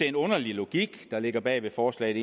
en underlig logik der ligger bag forslaget